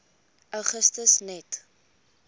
augustus net